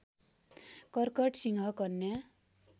कर्कट सिंह कन्या